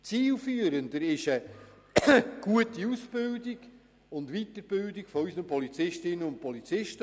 Zielführender ist eine gute Aus- und Weiterbildung unserer Polizistinnen und Polizisten.